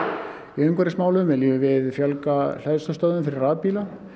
í umhverfismálum viljum við fjölga hleðslustöðvum fyrir rafbíla